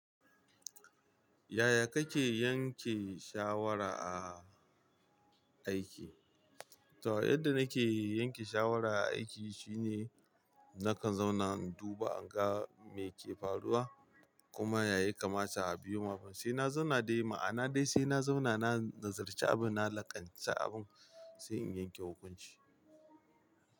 Yaya kake yanke shawara a aiki? To, yadda nake yanke shawara a aiki shine nakan zauna in duba, in ga me ke faruwa kuma ya yakamata a bi sai na zauna dai ma'ana dai sai na zauna na nazarci abin, na laƙanci abin sai in yanke hukunci.